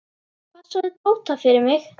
Passaðu Tóta fyrir mig.